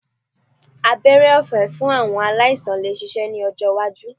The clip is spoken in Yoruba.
Abẹ́rẹ́ ọ̀fé fún àwọn aláìsàn lè ṣeéṣe ní ọjọ́ iwájú